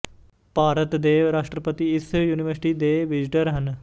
ਭਾਰਤ ਦੇ ਰਾਸ਼ਟਰਪਤੀ ਇਸ ਯੂਨੀਵਰਸਿਟੀ ਦੇ ਵਿਜ਼ਟਰ ਹਨ